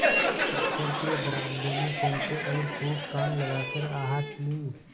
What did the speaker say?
दफ्तर के बरामदे में पहुँचे और खूब कान लगाकर आहट ली